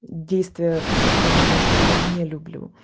действие касательной меня что я не люблю